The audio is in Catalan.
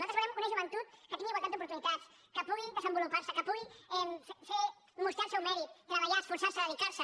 nosaltres volem una joventut que tingui igualtat d’oportunitats que pugui desenvolupar se que pugui mostrar el seu mèrit treballar esforçar se dedicar se